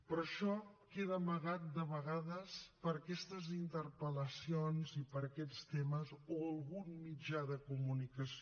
però això queda amagat de vegades per aquestes interpel·lacions i per aquests temes o algun mitjà de comunicació